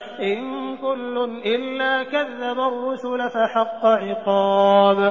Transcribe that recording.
إِن كُلٌّ إِلَّا كَذَّبَ الرُّسُلَ فَحَقَّ عِقَابِ